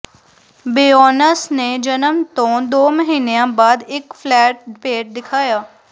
ਬੈਔਨਸ ਨੇ ਜਨਮ ਤੋਂ ਦੋ ਮਹੀਨਿਆਂ ਬਾਅਦ ਇਕ ਫਲੈਟ ਪੇਟ ਦਿਖਾਇਆ